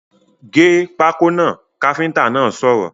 ‘Gé pákó náà’ káfíntà náà sọ̀rọ̀